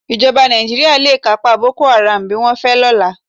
Ìjọba Nàìjíríà le kápá Boko Haram bí wọ́n fẹ́ lọ́la.